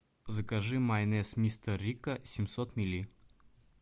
закажи майонез мистер рикко семьсот милли